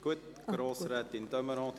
– Das ist der Fall.